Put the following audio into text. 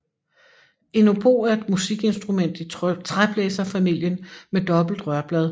En obo er et musikinstrument i træblæserfamilien med dobbelt rørblad